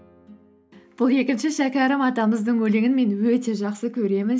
бұл екінші шәкәрім атамыздың өлеңін мен өте жақсы көремін